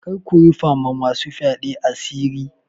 Kar ku rufa ma masu fyaɗe asiri.